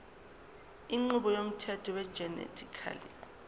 inqubo yomthetho wegenetically